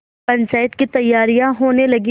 पंचायत की तैयारियाँ होने लगीं